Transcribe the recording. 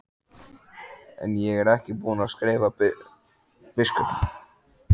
En ég er ekki búinn að skrifa biskupnum.